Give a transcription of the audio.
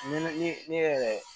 Ni yɛrɛ